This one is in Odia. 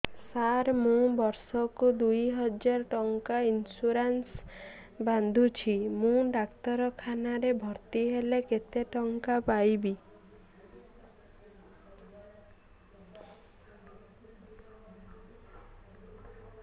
ସାର ମୁ ବର୍ଷ କୁ ଦୁଇ ହଜାର ଟଙ୍କା ଇନ୍ସୁରେନ୍ସ ବାନ୍ଧୁଛି ମୁ ଡାକ୍ତରଖାନା ରେ ଭର୍ତ୍ତିହେଲେ କେତେଟଙ୍କା ପାଇବି